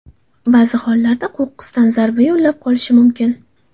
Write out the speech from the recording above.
Ba’zi hollarda qo‘qqisdan zarba yo‘llab qolishi mumkin.